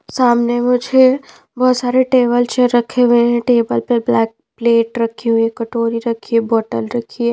सामने मुझे बहुत सारे टेबल चेयर रखे हुए हैं टेबल पर ब्लैक प्लेट रखी हुई है कटोरी रखी है बोतल रखी है।